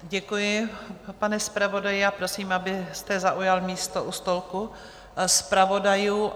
Děkuji, pane zpravodaji, a prosím, abyste zaujal místo u stolku zpravodajů.